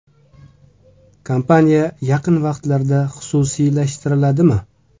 Kompaniya yaqin vaqtlarda xususiylashtiriladimi?